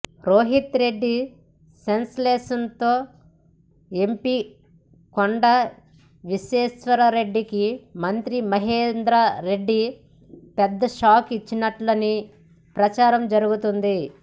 రోహిత్ రెడ్డి సస్పెన్షన్తో ఎంపి కొండ విశ్వేశ్వర్రెడ్డికి మంత్రి మహేందర్ రెడ్డి పెద్ద షాక్ ఇచ్చినట్లే నని ప్రచారం జరుగుతుంది